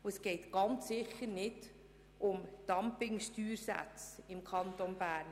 Und es geht ganz sicher nicht um Dumpingsteuersätze im Kanton Bern.